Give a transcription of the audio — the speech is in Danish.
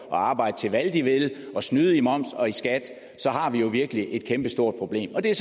og arbejde til hvad de vil og snyde i moms og i skat har vi jo virkelig et kæmpestort problem og det er